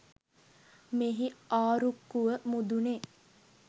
මෙහි ආරුක්කුව මුදුනේ